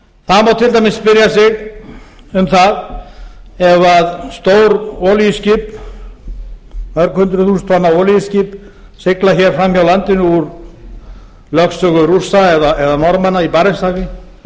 það má til dæmis spyrja sig um það ef stór olíuskip mörg hundruð þúsund tonna olíuskip sigla hér fram hjá landinu úr lögsögu rússa eða norðmanna í barentshafi